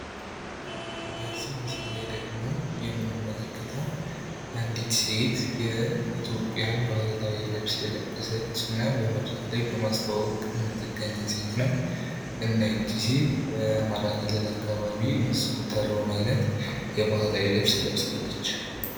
በዚህ ምስል ላይ ደግሞ የምንመለከተዉ አንዲት ሴት የኢትዮጵያን ባህላዊ ልብስ የለበሰች እና በመድረክ ላይ በማስተዋወቅ ነዉ። እና ይቺ ሴት በአማራ ክልል የሚዘወተረዉን የባህል ልብስ ለብሳለች።